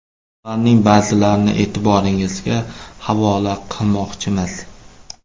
Ularning ba’zilarini e’tiboringizga havola qilmoqchimiz.